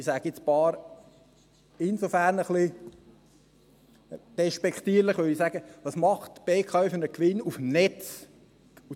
Ich sage «ein paar» deshalb etwas despektierlich, weil ich sage: Welchen Gewinn macht die BKW auf dem Netz?